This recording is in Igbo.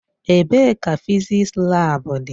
Ebee ka fịzịksi laabu dị.